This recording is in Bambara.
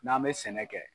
N'an bɛ sɛnɛ kɛ